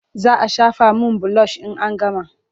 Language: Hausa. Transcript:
Za a shafa min bilosh in an gama.